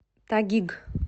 тагиг